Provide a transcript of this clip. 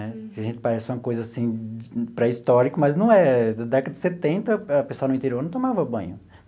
Né que a gente parece uma coisa, assim, pré-histórica, mas não é. Na década de setenta, o pessoal do interior não tomava banho.